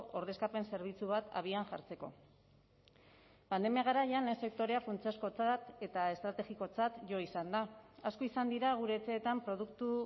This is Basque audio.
ordezkapen zerbitzu bat abian jartzeko pandemia garaian lehen sektorea funtsezkotzat eta estrategikotzat jo izan da asko izan dira gure etxeetan produktu